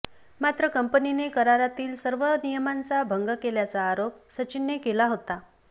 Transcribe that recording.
मात्र कंपनीने करारातील सर्व नियमांचा भंग केल्याचा आरोप सचिनने केला होता